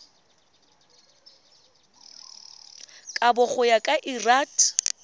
kabo go ya ka lrad